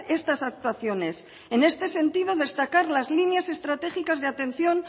estas actuaciones en este sentido destacar las líneas estratégicas de atención